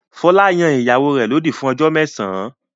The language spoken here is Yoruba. Fọlá yan ìyàwó rẹ̀ lódì fún ọjọ́ mẹ́sàn-án.